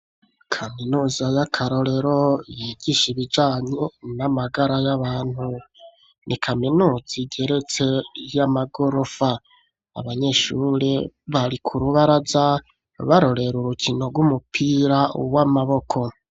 Kaminuza y'akarorero yigisha ibijanye n'amagara y'abantu. Ni kaminuza igeretse y'amagorofa. Abanyeshuri bari ku rubaraza barorera urukino rw'umupira w'amaboko.